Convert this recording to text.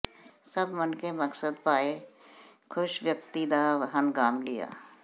ਸਭ ਮਣਕੇ ਮਕਸਦ ਭਰ ਪਾਏ ਖ਼ੁਸ਼ ਵਕਤੀ ਕਾ ਹਨਗਾਮ ਲਿਆ